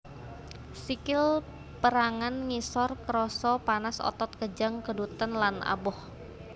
Sikil pérangan ngisor krasa panas otot kejang keduten lan aboh